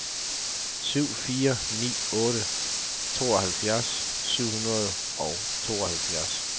syv fire ni otte tooghalvfjerds syv hundrede og tooghalvfjerds